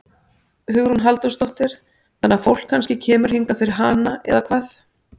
Hugrún Halldórsdóttir: Þannig að fólk kannski kemur hingað fyrir hana eða hvað?